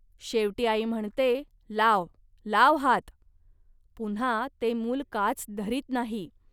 शेवटी आई म्हणते, "लाव, लाव हात. पुन्हा ते मूल काच धरीत नाही